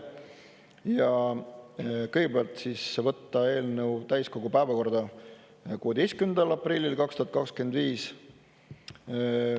Kõigepealt, võtta eelnõu täiskogu päevakorda 16. aprillil 2025.